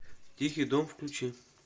тихий дон включи